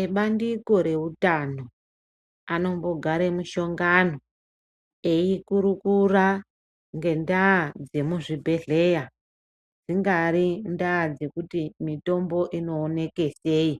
Ebandiko re utano anombo gara mushongano eyi kurukura nge ndaa yemu zvibhedhleya dzingari ndaa dzekuti mitombo ino oneke sei